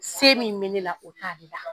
Se min bɛ ne la o t'a la.